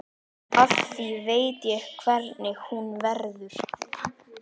Af því ég veit hvernig hún verður.